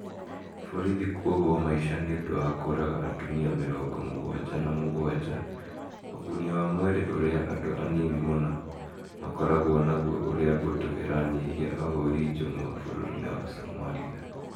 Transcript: Borithi kuohwo maisha nĩ ũndũ wa kũũraga atumia mirongo mũgwanja na mũgwanja ũguni wa mwĩrĩ ũrĩa andũ anini mũno makoragwo naguo ũrĩa mbũtũ iranyihia ahũũri njũng'wa bũrũri-inĩ wa Somalia.